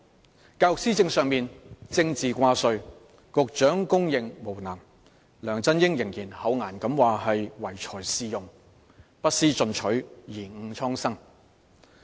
在教育施政上政治掛帥，即使局長被公認為無能，梁振英仍然厚顏地表示唯才是用，不思進取，貽誤蒼生。